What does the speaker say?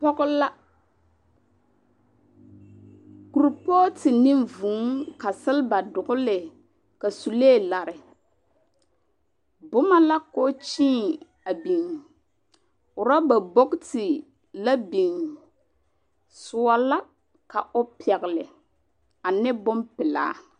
Pɔge la. Kurpootu ne vŭŭŭ ka seleba dogele, ka sulee lare. Bomɔ la k'o kyeen a binni. Rɔba bokiti lɛ bin. Soɔ la ka o pɛgele ane bompelaa.